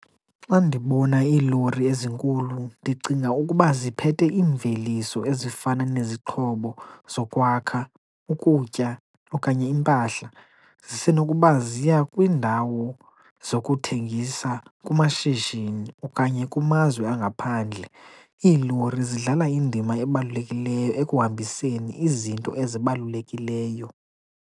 Xa ndibona iilori ezinkulu ndicinga ukuba ziphethe iimveliso ezifana nezixhobo zokwakha, ukutya okanye impahla. Zisenokuba ziya kwiindawo zokuthengisa kumashishini okanye kumazwe angaphandle. Iilori zidlala indima ebalulekileyo ekuhambiseni izinto ezibalulekileyo.